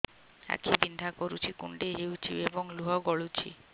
ଆଖି ବିନ୍ଧା କରୁଛି କୁଣ୍ଡେଇ ହେଉଛି ଏବଂ ଲୁହ ଗଳୁଛି